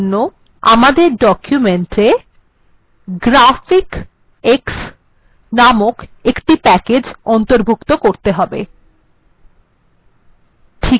এর জন্য আমাদের ডকুমেন্টএ graphicx নামক প্যাকেজ্টি অন্তর্গত করতে হবে